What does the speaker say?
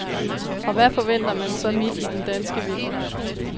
Og hvad forventer man så midt i den danske vinter?